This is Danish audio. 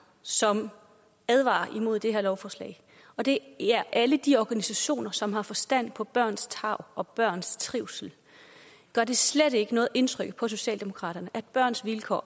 som advarer imod det her lovforslag og det er alle de organisationer som har forstand på børns tarv og børns trivsel gør det slet ikke noget indtryk på socialdemokraterne at børns vilkår